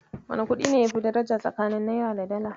Wane kuɗi ne yafi daraja tsakanin Naira da Dala?